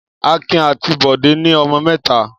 Akin àti Bọ́lá ní ọmọ mẹ́ta.